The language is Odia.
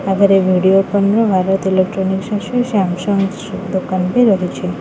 ଆଗରେ ଭିଡିଓକନ୍ ର ଭାରତୀୟ ଇଲେକ୍ଟନିକ ମେସିନ୍ ସୁ- ସୁ-ସାମସଙ୍ଗ ଦୋକାନ ଟି ରହିଚି ।